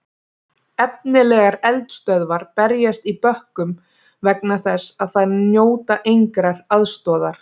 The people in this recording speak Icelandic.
Efnilegar eldisstöðvar berjast í bökkum vegna þess að þær njóta engrar aðstoðar.